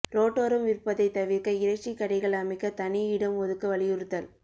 ரோட்ேடாரம் விற்பதை தவிர்க்க இறைச்சி கடைகள் அமைக்க தனி இடம் ஒதுக்க வலியுறுத்தல்